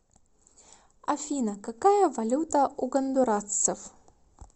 афина какая валюта у гондурасцев